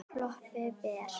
Klöppin ber.